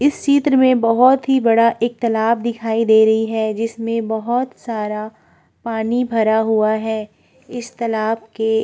इस चित्र में बहोत ही बड़ा एक तालाब दिखाई दे रही है जिसमें बहोत सारा पानी भरा हुआ है इस तालाब के --